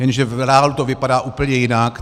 Jenže v reálu to vypadá úplně jinak.